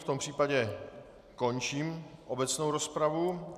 V tom případě končím obecnou rozpravu.